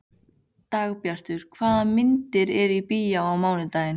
Dagbjartur, hvaða myndir eru í bíó á mánudaginn?